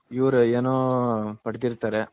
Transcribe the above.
ಇವರು ಏನೋ ಪಡ್ತಿರ್ತರೆ .